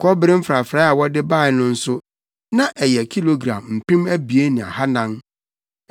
Kɔbere mfrafrae a wɔde bae no nso, na ɛyɛ kilogram mpem abien ne ahannan (2,400).